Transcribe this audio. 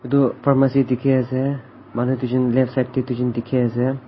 etu pharmacy dekhi ase manu duijon left side tae dekhi ase.